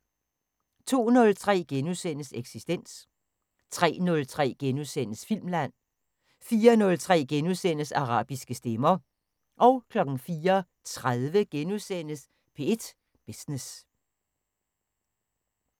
02:03: Eksistens * 03:03: Filmland * 04:03: Arabiske stemmer * 04:30: P1 Business *